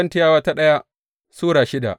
daya Korintiyawa Sura shida